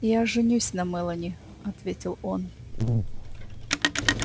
я женюсь на мелани ответил он